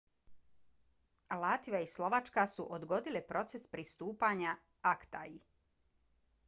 latvija i slovačka su odgodile proces pristupanja acta-i